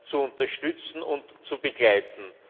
zu unterstützen und zu begleiten.